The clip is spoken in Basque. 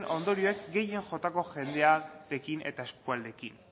ondorioek gehien jotako jendearekin eta eskualdeekin